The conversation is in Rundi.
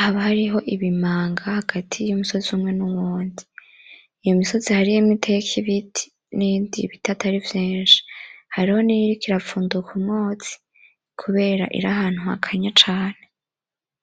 haba hariho ibimanga hagati y'umusozi umwe nuwundi. Iyo misozi hariho yibiteka imitwi hariyo niyiriko irafumbuka umwotsi kubera iri ahantu hakanye cane.